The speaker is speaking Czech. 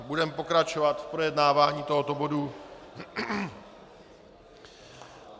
Budeme pokračovat v projednávání tohoto bodu.